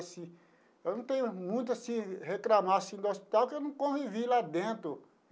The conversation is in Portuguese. Eu não tenho muito assim a reclamar assim do hospital que eu não convivi lá dentro.